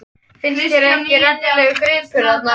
Finnst þér þetta ekki rennilegur gripur þarna?